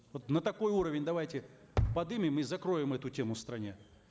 вот на такой уровень давайте подымем и закроем эту тему в стране